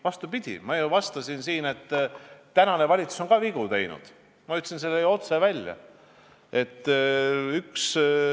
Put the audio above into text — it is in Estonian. Vastupidi, ma ju vastasin, et tänane valitsus on ka vigu teinud, ma ütlesin selle otse välja.